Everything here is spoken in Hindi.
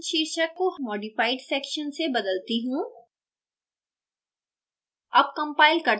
अब मैं section शीर्षक को modified section से बदलती हूँ